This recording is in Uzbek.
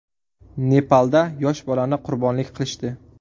Nepalda yosh bolani qurbonlik qilishdi.